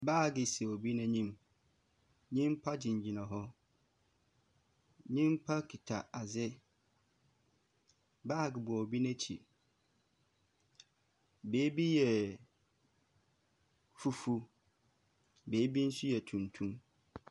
Baage si obi n’enyim, nyimpa gyinagyina hɔ, nyimpa kita adze. Baage bɔ obi n’ekyir. Beebi yɛ fufuw, beebi so yɛ tuntum.